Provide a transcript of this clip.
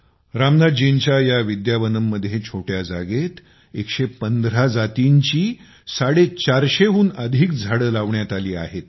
रामनाथजींच्या या विद्यावनममध्ये छोट्या जागेत 115 जातींची 450 हून अधिक झाडे लावण्यात आली आहेत